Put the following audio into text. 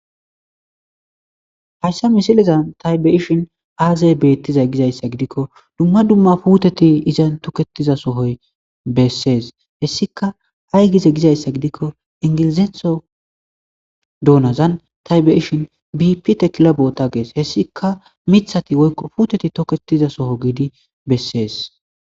hayssa misilizan taybeishin aazay bettiza gizayssa gidikko dumma dumma puuteti iza toketiza sohoy bessees hessika aygize gizayssa gidikko ingilizetho doonazan taybeishin bipi tekila boota gees hessika mithati o puuteti toketiza soho giidi bessees